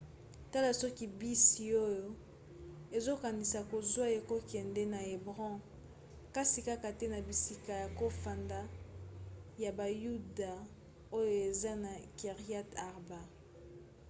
tala soki bisi oyo ozokanisa kozwa ekokende na hébron kasi kaka te na bisika ya kofanda ya bayuda oyo eza na kiryat arba